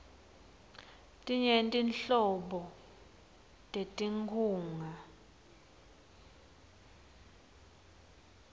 tinyenti nhlobo tetinkhunga